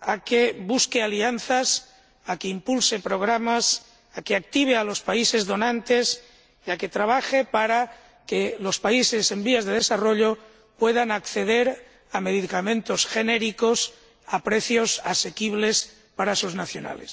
a que busque alianzas, a que impulse programas, a que active a los países donantes y a que trabaje para que los países en desarrollo puedan acceder a los medicamentos genéricos a precios asequibles para sus nacionales.